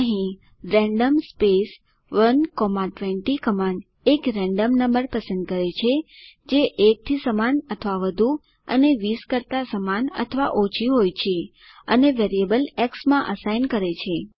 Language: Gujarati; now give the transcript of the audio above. અહીં રેન્ડમ 120 કમાન્ડ એક રેન્ડમ નમ્બર પસંદ કરે છે જે 1 થી સમાન અથવા વધુ અને 20 કરતાં સમાન અથવા ઓછી હોય છેઅને વેરિયેબલ એક્સ માં અસાઇન કરે છે